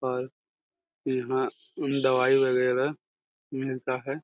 और यहां उन दवाई वागेरा मिलता हैं।